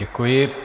Děkuji.